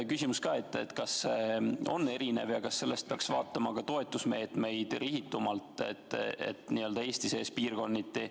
Küsimus on selles, kas on erinev ja kas sellest tulenevalt peaks toetusmeetmeid kasutama rihitumalt, n-ö Eesti sees piirkonniti.